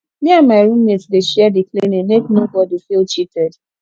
me and my room mate dey share di cleaning make nobodi feel cheated